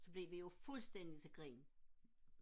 så blev vi jo fuldstændig til grin